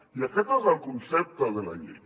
i aquest és el concepte de la llei